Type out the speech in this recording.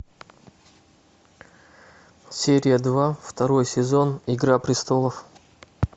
серия два второй сезон игра престолов